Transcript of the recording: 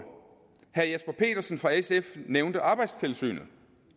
herre jesper petersen fra sf nævnte arbejdstilsynet